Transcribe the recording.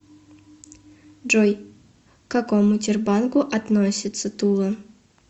джой к какому тербанку относится тула